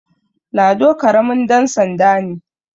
Lado karamin dansanda ne